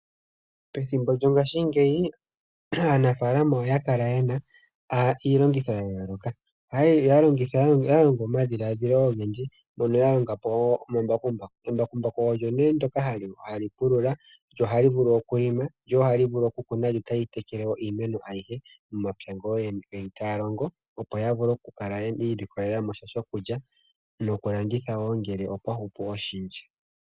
Pethimbo lyongashingeyi, aanafaalama oya kala ye na iilongitho ya yooloka. Oya longo omadhiladhilo ogendji, mpono ya longa po omambakumbaku. Embakumbaku olyo nee ndyoka hali pulula, lyo ohali vulu okulima, lyo ohali vulu okukuna, lyo tali tekele wo iimeno ayihe momapya ngoka ooyene taya longo, opo ya kale yi ilikolela mo sha shokulya nokulanditha wo ngele opwa hupu oshindji.